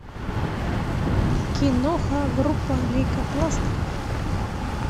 киноха группа лейкопластырь